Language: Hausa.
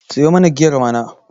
siyo mana giyar mana!